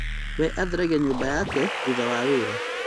We atheragia nyũmba yake thutha wa wĩra